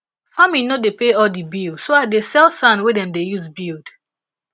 farming no dey pay all di bill so i still dey sell sand wey dem dey use build